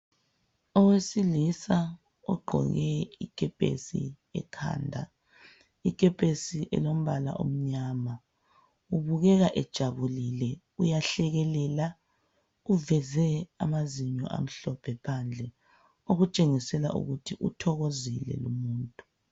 Owesilisa ogqoke ikepesi ekhanda ikepesi elombala omnyama ubukeka ejabulile uyahlekelela uveze amazinyo amhlophe phandle okutshengisela ukuthi uthokozile lumuntu.